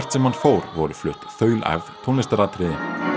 sem hann fór voru flutt tónlistaratriði